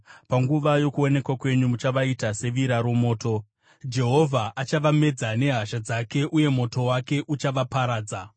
Panguva yokuonekwa kwenyu muchavaita sevira romoto. Jehovha achavamedza nehasha dzake, uye moto wake uchavaparadza.